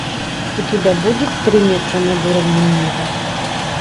у тебя будет три метра над уровнем неба